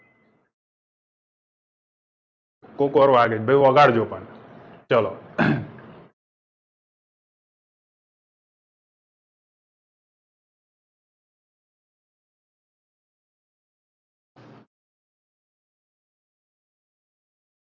કોક વાર વાગે ભાઈ વગાડજો પણ ચલો